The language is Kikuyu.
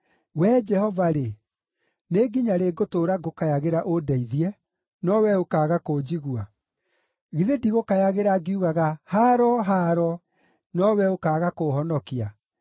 Wee Jehova-rĩ, nĩ nginya rĩ ngũtũũra ngũkayagĩra ũndeithie, no wee ũkaaga kũnjigua? Githĩ ndigũkayagĩra ngiugaga, “Haaro! Haaro!” no wee ũkaaga kũhonokania?